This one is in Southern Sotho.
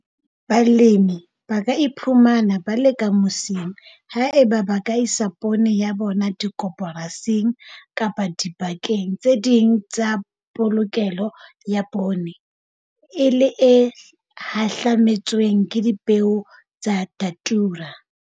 Balemi ba ka iphumana ba le ka mosing haeba ba ka isa poone ya bona dikoporasing kapa dibakeng tse ding tse polokelo ya poone, e le e hahlametsweng ke dipeo tsa Datura.